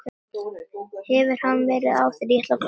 Hefur hann verið áður?